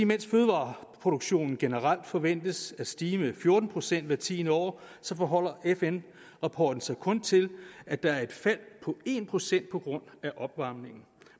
mens fødevareproduktionen generelt forventes at stige med fjorten procent hvert tiende år så forholder fn rapporten sig kun til at der er et fald på en procent på grund af opvarmningen